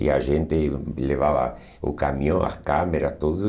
E a gente levava o caminhão, as câmeras, tudo.